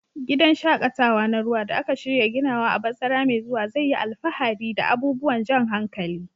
Gidan shaƙatawa na ruwa da aka shirya ginawa a bazara mai zuwa zai yi alfahari da abubuwan jan hankali.